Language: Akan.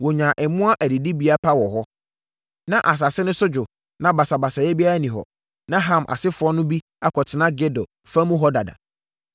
Wɔnyaa mmoa adidibea pa wɔ hɔ. Na asase no so dwo na basabasayɛ biara nni hɔ. Na Ham asefoɔ no bi akɔtena Gedor fa mu hɔ dada.